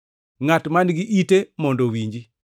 Ngʼat man-gi ite mondo owinji.